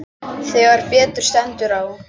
Þegar betur stendur á